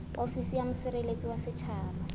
ofisi ya mosireletsi wa setjhaba